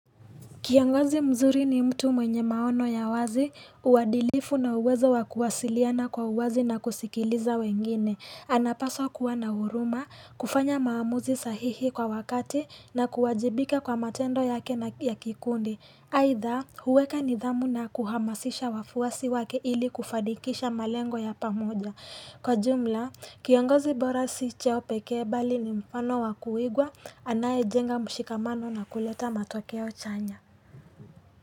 Kiongozi mzuri ni mtu mwenye maono ya wazi, uadilifu na uwezo wa kuwasiliana kwa uwazi na kusikiliza wengine. Anapaswa kuwa na huruma, kufanya maamuzi sahihi kwa wakati na kuwajibika kwa matendo yake na ya kikundi. Aidha, huweka nidhamu na kuhamasisha wafuasi wake ili kufanikisha malengo ya pamoja. Kwa jumla, kiongozi bora si cheo peke bali ni mfano wakuigwa anayejenga mshikamano na kuleta matokeo chanya.